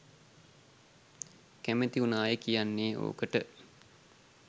කැමති උනාය කියන්නේ ඕකට